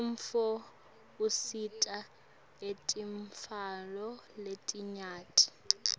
umnotfo usita etintfweni letinyenti